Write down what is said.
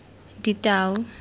ditau